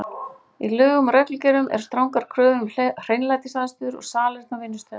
Í lögum og reglugerðum eru strangar kröfur um hreinlætisaðstöðu og salerni á vinnustöðum.